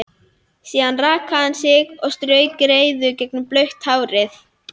Síðan rakaði hann sig og strauk greiðu gegnum blautt hárið.